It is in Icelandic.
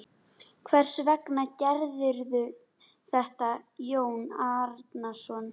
Hvers vegna gerirðu þetta Jón Arason?